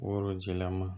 Worojilama